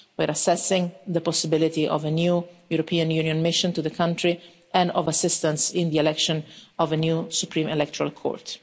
We are assessing the possibility of a new European Union mission to the country and of assistance in the election of a new Supreme Electoral Court.